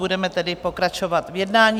Budeme tedy pokračovat v jednání.